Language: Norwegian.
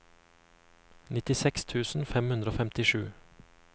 nittiseks tusen fem hundre og femtisju